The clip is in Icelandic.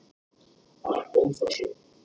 Þar kom það svo!